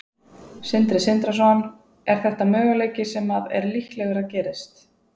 Sindri Sindrason: Er þetta möguleiki sem að er líklegur að gerist?